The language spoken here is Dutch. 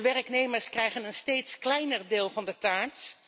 De werknemers krijgen een steeds kleiner deel van de taart.